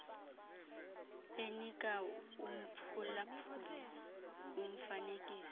enika umphulaphuli umfanekiso